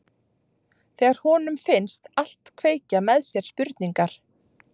Þegar honum finnst allt kveikja með sér spurningar.